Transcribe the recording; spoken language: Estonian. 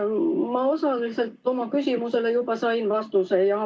Ma osaliselt juba sain oma küsimusele vastuse.